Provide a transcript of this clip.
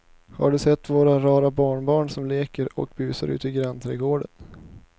Har du sett våra rara barnbarn som leker och busar ute i grannträdgården!